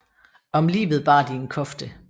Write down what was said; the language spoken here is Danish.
Om livet bar de en kofte